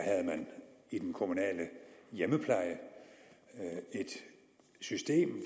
i den kommunale hjemmepleje et system